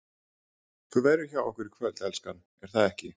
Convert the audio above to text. ÞÚ VERÐUR HJÁ OKKUR Í KVÖLD, ELSKAN, ER ÞAÐ EKKI?